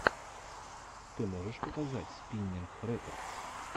ты можешь показать спиннинг рекордс